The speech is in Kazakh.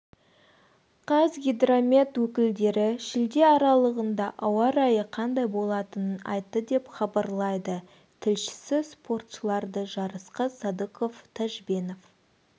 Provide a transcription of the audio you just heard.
қазгидромет өкілдері шілде аралығында ауа райы қандай болатынын айтты деп хабарлайды тілшісі спортшыларды жарысқа садықов тажбенов